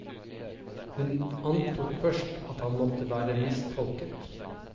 Hun antok først at han måtte vært mistolket.